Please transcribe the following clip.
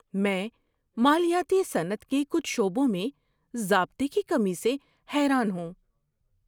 میں مالیاتی صنعت کے کچھ شعبوں میں ضابطے کی کمی سے حیران ہوں۔